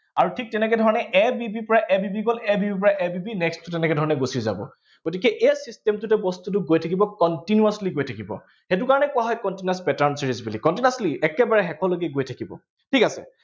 আৰু ঠিক তেনেকে ধৰণে a b b ৰ পৰা a b b গল, a b b ৰ পৰা a b b টো তেনেকে ধৰণে গুচি যাব। গতিকে এই system টোতে বস্তুটো গৈ থাকিব continuously গৈ থাকিব। সেইটো কাৰণে কোৱা হয় continuous pattern series বুলি continuously একেবাৰে শেষৰলৈকে ই গৈ থাকিব, ঠিক আছে